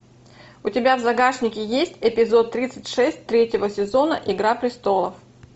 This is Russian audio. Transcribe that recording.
у тебя в загашнике есть эпизод тридцать шесть третьего сезона игра престолов